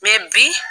bi